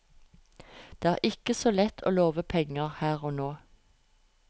Det er ikke så lett å love penger her og nå.